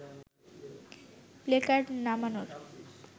placard নামানোর